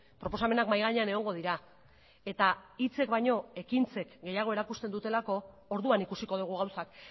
proposamenak mahai gainean egongo dira eta hitzek baino ekintzek gehiago erakusten dutelako orduan ikusiko dugu gauzak